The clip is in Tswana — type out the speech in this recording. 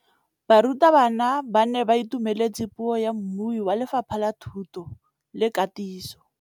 Barutabana ba ne ba itumeletse puô ya mmui wa Lefapha la Thuto le Katiso.